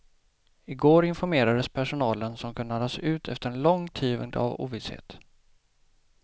I går informerades personalen som kunde andas ut efter en lång tid av ovisshet.